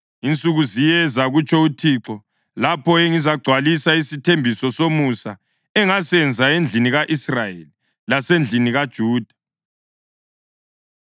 ‘Insuku ziyeza,’ kutsho uThixo, ‘lapho engizagcwalisa isithembiso somusa engasenza endlini ka-Israyeli lasendlini kaJuda.